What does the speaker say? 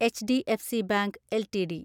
HDFC bank LTD